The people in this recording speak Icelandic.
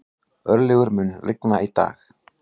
Örlygur, mun rigna í dag?